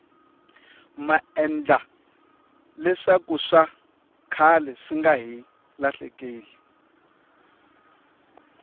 maendla leswakuswa khale swinga hi lahlekeli